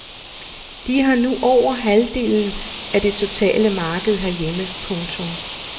De har nu over halvdelen af det totale marked herhjemme. punktum